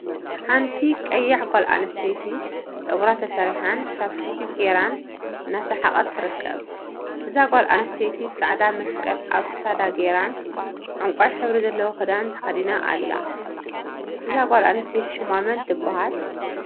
ሓንቲ ቀያሕ ጓል አንስተይቲ ፀጉራ ተሰሪሓን ቻፕስቲክ ገይራን እናሰሓቀት ትርከብ፡፡ እዛ ጓል አንስተይቲ ፃዕዳ መስቀል አብ ክሳዳ ገይራን ዕንቋይ ሕብሪ ዘለዎ ክዳን ተከዲናን አላ፡፡ እዛ ጓል አንስተይቲ ሽማ መን ትበሃል?